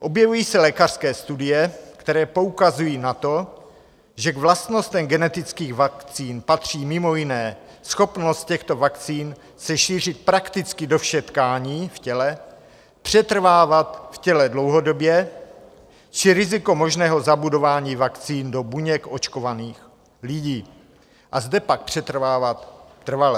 Objevují se lékařské studie, které poukazují na to, že k vlastnostem genetických vakcín patří mimo jiné schopnost těchto vakcín se šířit prakticky do všech tkání v těle, přetrvávat v těle dlouhodobě či riziko možného zabudování vakcín do buněk očkovaných lidí a zde pak přetrvávat trvale.